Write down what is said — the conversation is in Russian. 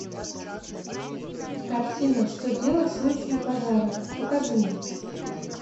картина что делать в случае пожара покажи мне